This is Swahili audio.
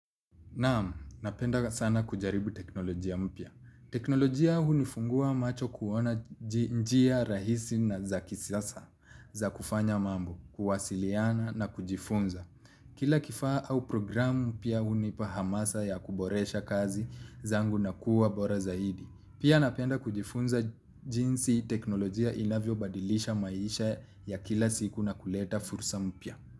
Naam, napendanga sana kujaribu teknolojia mpya. Teknolojia hunifungua macho kuona njia rahisi na za kisasa za kufanya mambo, kuwasiliana na kujifunza. Kila kifaa au programu pia hunipa hamasa ya kuboresha kazi zangu na kuwa bora zaidi. Pia napenda kujifunza jinsi teknolojia inavyobadilisha maisha ya kila siku na kuleta fursa mpya.